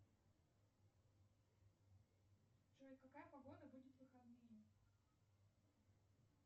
джой какая погода будет в выходные